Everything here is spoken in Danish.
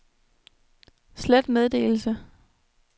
slet meddelelse